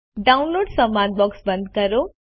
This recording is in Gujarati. ડાઉનલોડ્સ સંવાદ બોક્સ બંધ કરો